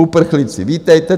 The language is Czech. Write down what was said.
Uprchlíci, vítejte.